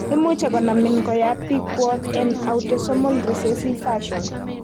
Imuche konamin koyap pikwok en autosomal recessive fashion